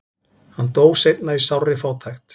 hann dó seinna í sárri fátækt